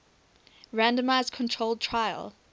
randomized controlled trial